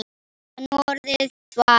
Áttu nú orðið tvær?